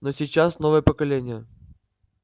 но сейчас новое поколение